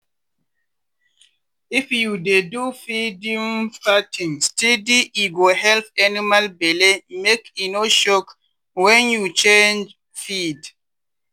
if you dey do feeding pattern steady e go help animal belle make e no shock when you change feed.